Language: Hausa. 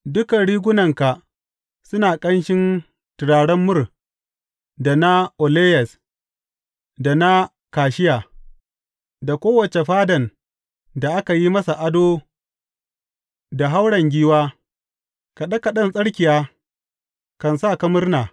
Dukan rigunanka suna ƙanshin turaren mur da na aloyes, da na kashiya; daga kowace fadan da aka yi masa ado da hauren giwa kaɗe kaɗen tsirkiya kan sa ka murna.